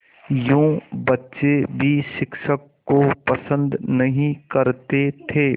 यूँ बच्चे भी शिक्षक को पसंद नहीं करते थे